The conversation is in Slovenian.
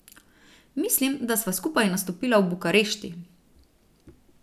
Mislim, da sva skupaj nastopila v Bukarešti.